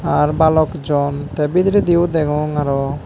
ar balok jon te bidirendio degong aro.